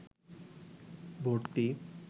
ভর্তি